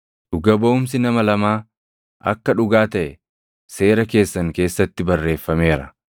Dhuga baʼumsi nama lamaa akka dhugaa taʼe Seera keessan keessatti barreeffameera.